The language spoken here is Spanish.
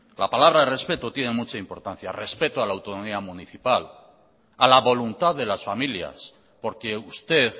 la palabra respeto tiene mucha importancia respeto a la autonomía municipal a la voluntad de las familias porque usted